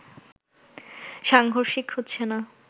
সাংঘর্ষিক হচ্ছে না